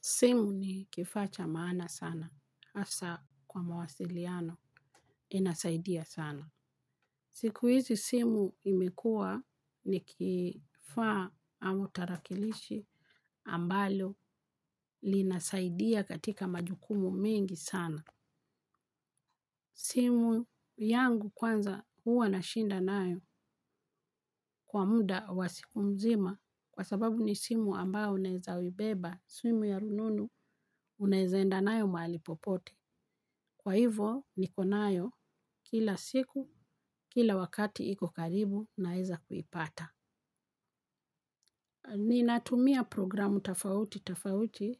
Simu ni kifaa cha maana sana, hasa kwa mawasiliano inasaidia sana. Siku hizi simu imekuwa ni kifaa ama tarakilishi ambalo linasaidia katika majukumu mengi sana. Simu yangu kwanza huwa nashinda nayo kwa muda wa siku mzima kwa sababu ni simu ambao unaeza uibeba, simu ya rununu unaeza enda nayo mahali popote. Kwa hivo nikonayo kila siku, kila wakati iko karibu naeza kuipata. Ninatumia programu tofauti, tofauti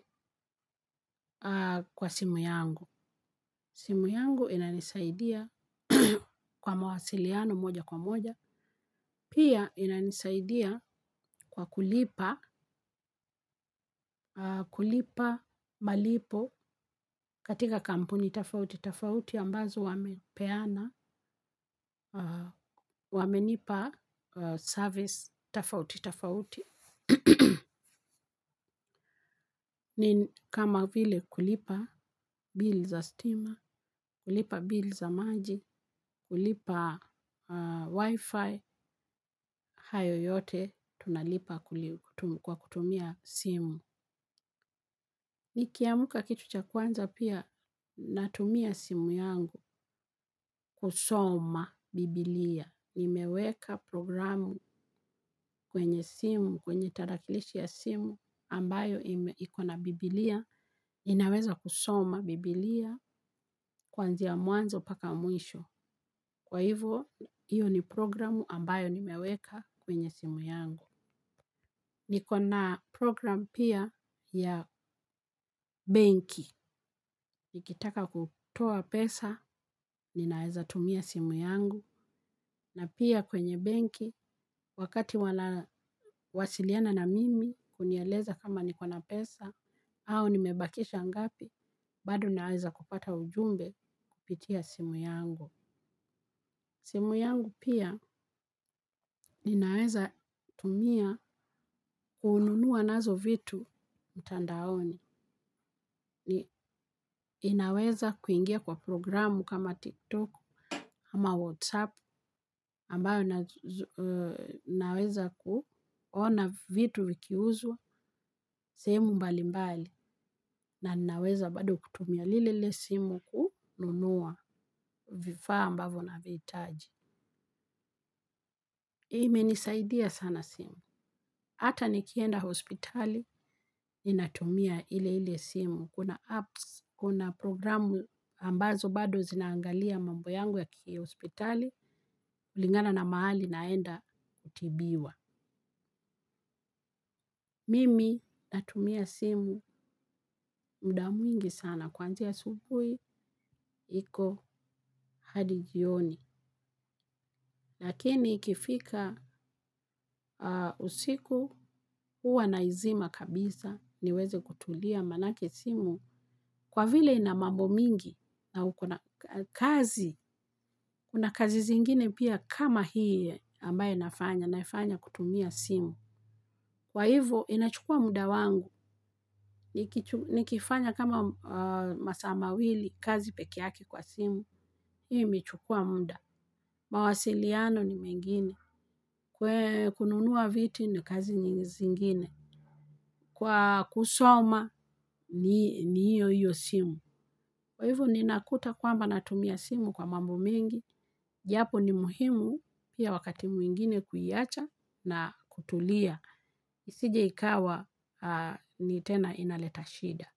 kwa simu yangu. Simu yangu inanisaidia kwa mawasiliano moja kwa moja. Pia inanisaidia kwa kulipa, kulipa malipo katika kampuni tafauti. Tafauti ambazo wamepeana, wamenipa service, tafauti, tafauti. Ni kama vile kulipa bill za stima, kulipa bill za maji, kulipa wifi, hayo yote tunalipa kwa kutumia simu. Nikiamuka kitu cha kwanza pia natumia simu yangu kusoma biblia, imeweka programu kwenye simu, kwenye tarakilishi ya simu ambayo ikona bibilia, inaweza kusoma bibilia kuanzi ya mwanzo mpaka mwisho, kwa hivyo hiyo ni programu ambayo nimeweka kwenye simu yangu. Nikona program pia ya benki. Nikitaka kutoa pesa, ninaweza tumia simu yangu. Na pia kwenye benki, wakati wana wasiliana na mimi, kunieleza kama niko na pesa, au nimebakisha ngapi, bado ninaweza kupata ujumbe kupitia simu yangu. Simu yangu pia ninaweza tumia kununua nazo vitu mtandaoni. Ninaweza kuingia kwa programu kama TikTok, kama WhatsApp, ambayo ninaweza kuona vitu vikiuzwa, sehemu mbali mbali, na ninaweza bado kutumia lilelile simu kununua vifaa ambavo navihitaji. Imenisaidia sana simu. Hata nikienda hospitali ninatumia ile ile simu. Kuna apps, kuna programu ambazo bado zinaangalia mambo yangu ya kihospitali, kulingana na mahali naenda kutibiwa. Mimi natumia simu muda mwingi sana. Kuanzia asubuhi, iko hadi jioni. Lakini ikifika usiku, huwa naizima kabisa, niweze kutulia manake simu. Kwa vile ina mambo mingi na uko na kazi, kuna kazi zingine pia kama hii ambayo nafanya, naifanya kutumia simu. Kwa hivyo, inachukua muda wangu. Nikifanya kama masaa mawili, kazi pekee yake kwa simu. Hiyo imechukua muda. Mawasiliano ni mengine. Kununua viti ni kazi nyingi zingine. Kwa kusoma ni hiyo hiyo simu. Kwa hivo ninakuta kwamba natumia simu kwa mambo mengi, japo ni muhimu pia wakati mwingine kuiacha na kutulia. Isije ikawa ni tena inaleta shida.